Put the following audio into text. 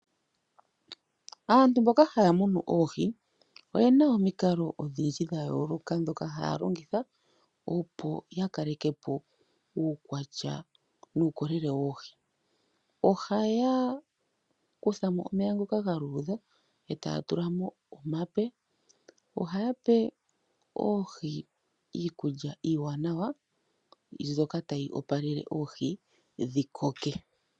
Aantu mboka haya munu oohi, oye na omikalo odhindji dha yooloka ndhoka haya longitha, opo ya kale po uukwatya nuukolele woohi. Ohaya kutha mo omeya ngoka ga luudha e taya tula mo omape. Ohaya pe oohi iikulya iiwanawa mbyoka tayi opalele oohi dhi koke.